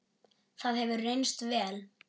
Það hefur reynst vel.